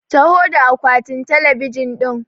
Taho da akwatin talabijin ɗin!